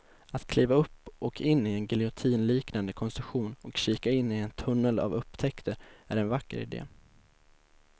Att kliva upp och in i en giljotinliknande konstruktion och kika in i en tunnel av upptäckter är en vacker idé.